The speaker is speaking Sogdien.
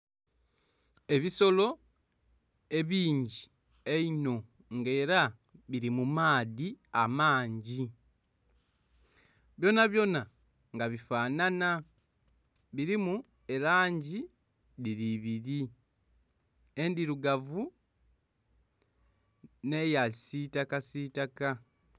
Ebisolo ebingi einho nga ela bili mu maadhi amangi byonabyona nga bifanhanha, bilimu elangi dhili ibili endhirugavu n'eyakisiitakasiitaka.